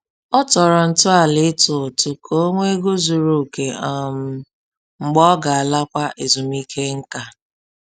Ọ tọrọ ntọala ịtụ ụtụ ka ọ nwee ego zuru oke um mgbe ọ ga-alakwa ezumike nká